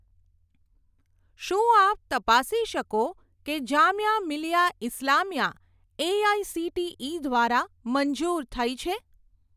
શું આપ તપાસી શકો કે જામિયા મિલિયા ઇસ્લામિયા એઆઇસીટીઇ દ્વારા મંજૂર થઇ છે?